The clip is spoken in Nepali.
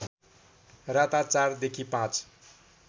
राता ४ देखि ५